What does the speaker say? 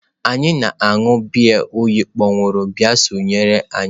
Anyị na-aṅụ biya oyi kpọnwụrụ bịa sonyere anyị.